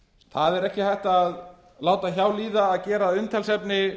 það er ekki hægt að láta hjá líða að gera að umtalsefni